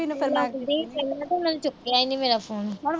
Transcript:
ਪਹਿਲਾ ਤਾਂ ਉਹਨਾਂ ਚੁੱਕਿਆ ਈ ਨੀ ਮੇਰਾ phone